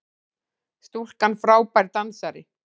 Stúlkan frábær dansari!